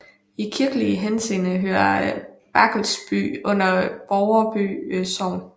I kirkelig henseende hører Barkelsby under Borreby Sogn